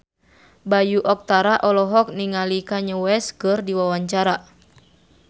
Bayu Octara olohok ningali Kanye West keur diwawancara